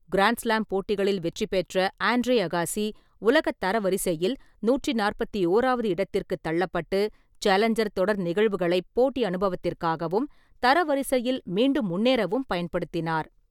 Grand slam போட்டிகளில் வெற்றி பெற்ற ஆண்ட்ரே அகாசி, உலக தரவரிசையில் நூற்றி நாற்பத்தி ஓறாவது இடத்திற்குத் தள்ளப்பட்டு, சேலஞ்சர் தொடர் நிகழ்வுகளை போட்டி அனுபவத்திற்காகவும், தரவரிசையில் மீண்டும் முன்னேறவும் பயன்படுத்தினார்.